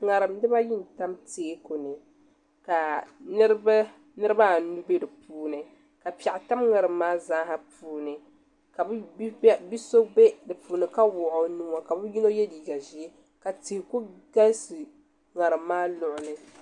ŋarim dibayi n tam teeku ni ka niraba anu bɛ di puuni ka piɛɣu tam ŋarim nim maa zaa puuni ka bi so bɛ dinni ka wuhi o nuu ka bi yino yɛ liiga ʒiɛ ka tihi ku galisi ŋarim maa luɣuli